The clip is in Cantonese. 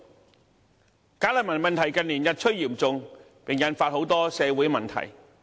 近年，"假難民"問題日趨嚴重，引發很多社會問題。